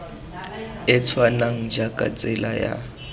e tshwanang jaaka tsela ya